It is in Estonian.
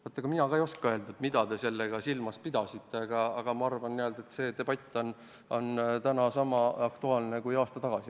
Vaat mina ka ei oska öelda, mida te sellega silmas pidasite, aga ma arvan, et see debatt on täna sama aktuaalne kui aasta tagasi.